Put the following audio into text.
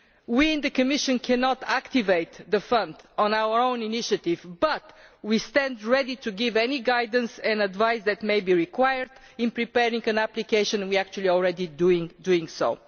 We in the Commission cannot activate the Fund on our own initiative, but we stand ready to give any guidance and advice that may be required in preparing an application, and we are actually already doing so.